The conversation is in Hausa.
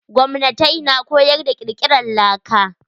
Gwamnatai na koyar da kirkiran laka.